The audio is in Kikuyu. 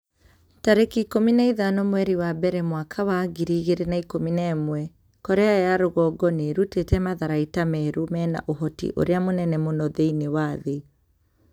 tarĩki ikũmi na ithano mweri wa mbere mwaka wa ngiri igĩrĩ na ikũmi na ĩmwe Korea ya rũgongo nĩ ĩrutĩte matharaita merũ mena ũhoti ũrĩa mũnene mũno thĩinĩ wa thĩ.'